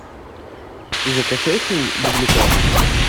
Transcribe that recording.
закачай фильм дубликаты